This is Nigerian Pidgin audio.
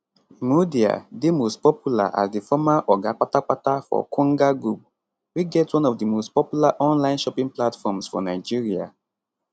imudia dey most popular as di former oga kpatakpata for konga group we get one of di most popular online shopping platforms for nigeria